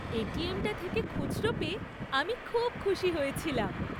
ATM টা থেকে খুচরো পেয়ে আমি খুব খুশি হয়েছিলাম।